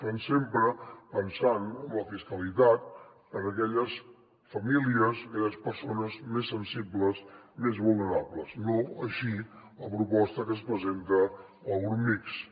però sempre pensant en la fiscalitat per a aquelles famílies aquelles persones més sensibles més vulnerables no així la proposta que ens presenta el grup mixt